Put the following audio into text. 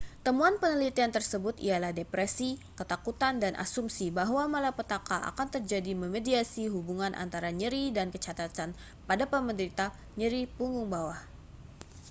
temuan penelitian tersebut ialah depresi ketakutan dan asumsi bahwa malapetaka akan terjadi memediasi hubungan antara nyeri dan kecacatan pada penderita nyeri punggung bawah